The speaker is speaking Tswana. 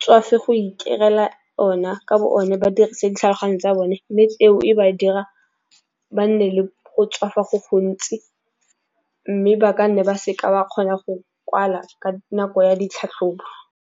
tswafa go iterela o nna ka bo bone ba dirisa ditlhaloganyo tsa bone. Mme eo e ba dira ba nne le go tswafa go gontsi mme ba ka nne ba seke ba kgona go kwala ka nako ya ditlhatlhobo.